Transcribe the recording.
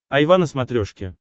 айва на смотрешке